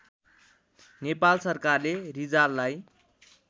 नेपाल सरकारले रिजाललाई